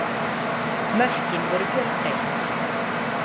Mörkin voru fjölbreytt